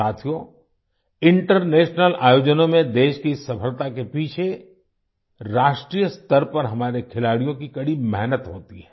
साथियो इंटरनेशनल आयोजनों में देश की इस सफलता के पीछे राष्ट्रीय स्तर पर हमारे खिलाड़ियों की कड़ी मेहनत होती है